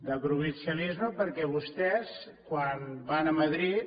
de provincialisme perquè vostès quan van a madrid